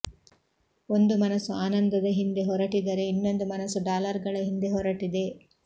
ಒಂದು ಮನಸ್ಸು ಆನಂದದ ಹಿಂದೆ ಹೊರಟಿದರೆ ಇನ್ನೊಂದು ಮನಸ್ಸು ಡಾಲರ್ಗಳ ಹಿಂದೆ ಹೊರಟಿದೆ